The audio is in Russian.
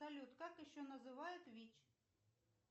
салют как еще называют вич